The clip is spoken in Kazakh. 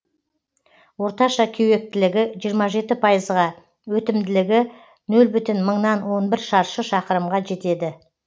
орташа кеуектілігі жиырма жеті пайызға өтімділігі нөл бүтін мыңнан он бір шаршы шақырымға жетеді